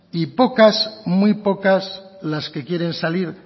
y pocas muy pocas las que quieren salir